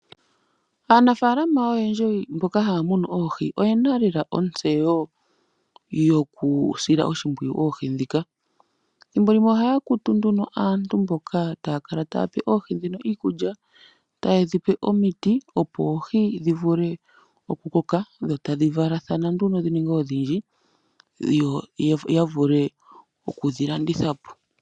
Aanafalama oyendji mboka haya munu oohi oyena lela ontseyo yoku sila oshimpwiyu oohi ndhika. Thimbolimwe ohaya kutu nduno aantu mboka taya kala otayedhipe oohi ndhino iikulya taye dhipe omiti opo oohi dhivule oku koka dho tadhi valathana nduno dhi ninge odhindji yo ya vule okudhi landitha.